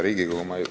Hea Riigikogu!